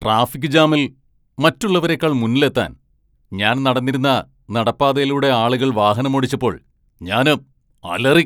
Traffic ജാമിൽ മറ്റുള്ളവരെക്കാൾ മുന്നിലെത്താൻ, ഞാൻ നടന്നിരുന്ന നടപ്പാതയിലൂടെ ആളുകൾ വാഹനമോടിച്ചപ്പോൾ ഞാന് അലറി.